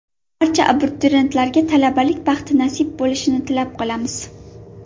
Barcha abituriyentlarga talabalik baxti nasib bo‘lishini tilab qolamiz!